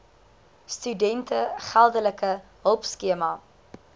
studente geldelike hulpskema